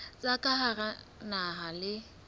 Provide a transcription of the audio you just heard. tsa ka hara naha le